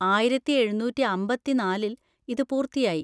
ആയിരത്തി എഴുന്നൂറ്റി അമ്പതിന്നാലിൽ ഇത് പൂർത്തിയാക്കി.